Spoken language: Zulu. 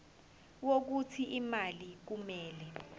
wokuthi imali kumele